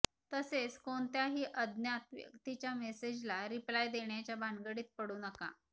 तसेच कोणत्याही अज्ञात व्यक्तीच्या मेसेजला रिप्लाय देण्याच्या भानगडीत पडू नका